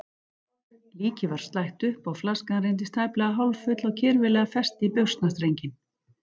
Líkið var slætt upp og flaskan reyndist tæplega hálffull og kirfilega fest í buxnastrenginn.